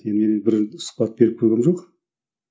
енді мен бір сұхбат беріп көргенім жоқ